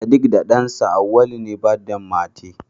sediq da dansa Awaulu ne birthday mate